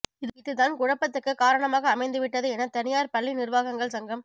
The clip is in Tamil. இதுதான் குழப்பத்துக்கு காரணமாக அமைந்துவிட்டது என தனியார் பள்ளி நிர்வாகங்கள் சங்கம்